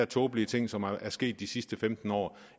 tåbelige ting som er sket de sidste femten år